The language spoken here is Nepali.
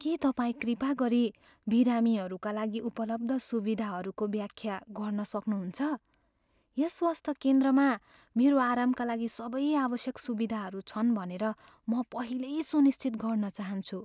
के तपाईँ कृपा गरी बिरामीहरूका लागि उपलब्ध सुविधाहरूको व्याख्या गर्न सक्नुहुन्छ? यस स्वास्थ्य केन्द्रमा मेरो आरामका लागि सबै आवश्यक सुविधाहरू छन् भनेर म पहिल्यै सुनिश्चित गर्न चाहन्छु।